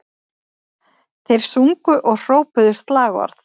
Þeir sungu og hrópuðu slagorð